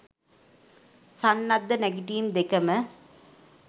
සන්නද්ධ නැගිටීම් දෙකම